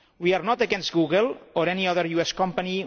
We are not against Google or any other US company.